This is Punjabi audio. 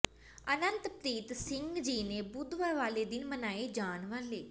ਅਨੰਤ ਪ੍ਰੀਤ ਸਿੰਘ ਜੀ ਨੇ ਬੁੱਧਵਾਰ ਵਾਲੇ ਦਿਨ ਮਨਾਏ ਜਾਣ ਵਾਲੇ